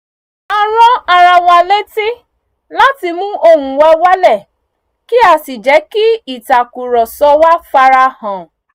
a ran ara wa létí láti mu ohùn wa wálẹ̀ kí á sì jẹ́ kí ìtàkùrọ̀sọ wa farahàn